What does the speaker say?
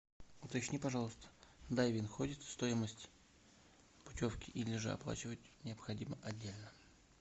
уточни пожалуйста дайвинг входит в стоимость путевки или же оплачивать необходимо отдельно